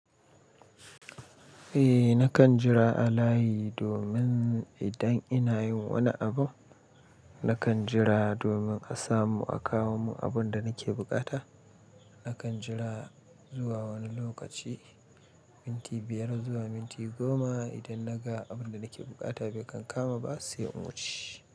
Eh nakan jira a layi domin idan ina yin wani abu, nakan jira domin a samu a kawo mun abun da nake buƙata. Nakan jira zuwa wani lokaci, minti biyar zuwa minti goma. Idan naga abun da nake buƙata bai kan kama ba sai in wuce.